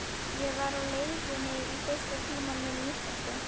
Ég var á leiðinni í fyrsta tímann minn í íslensku.